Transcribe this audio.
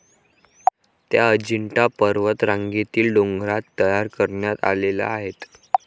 त्या अजिंठा पर्वतरांगेतील डोंगरात तयार करण्यात आलेल्या आहेत.